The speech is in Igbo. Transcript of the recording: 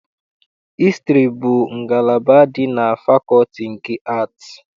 Hịstrị bụ ngalaba dị na fakọlti nke Aatị.